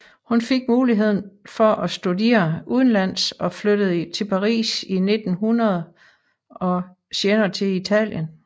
Hun fik muligheden for at studere udenlands og flyttede til Paris i 1900 og senere til Italien